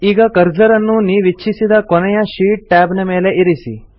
ಈಗ ಕರ್ಸರ್ ಅನ್ನು ನೀವಿಚ್ಛಿಸಿದ ಕೊನೆಯ ಶೀಟ್ ಟ್ಯಾಬ್ ನ ಮೇಲೆ ಇರಿಸಿ